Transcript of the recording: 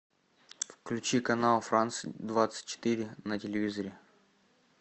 включи канал франс двадцать четыре на телевизоре